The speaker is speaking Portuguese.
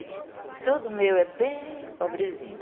E tudo meu é bem pobrezinho.